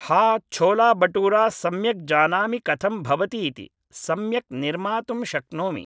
हा छोला बटूरा सम्यक् जानामि कथं भवति इति, सम्यक् निर्मातुं शक्नोमि